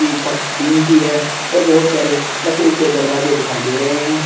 ये छत टीन की है और बहुत सारे लकड़ी के दरवाजे दिखाई दे रहे हैं।